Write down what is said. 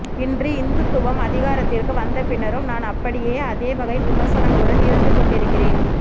இன்று இந்துத்துவம் அதிகாரத்திற்கு வந்தபின்னரும் நான் அப்படியே அதேவகை விமர்சனங்களுடன் இருந்துகொண்டிருக்கிறேன்